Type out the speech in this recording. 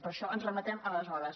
per això ens remetem a aleshores